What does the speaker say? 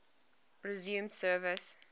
resumed service